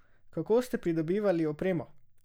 Kako ste pridobivali opremo?